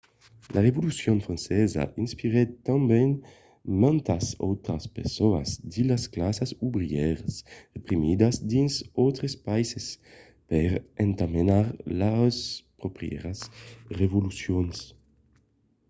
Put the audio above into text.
la revolucion francesa inspirèt tanben mantas autras personas de las classas obrièras reprimidas dins d'autres païses per entamenar lors pròprias revolucions